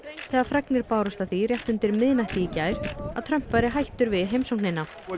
þegar fregnir bárust af því rétt undir miðnætti í gær að Trump væri hættur við heimsóknina